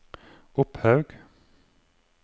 Opphaug